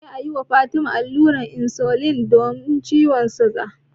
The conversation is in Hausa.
Dole ne a yi wa Fatima allurar insulin don ciwon suga.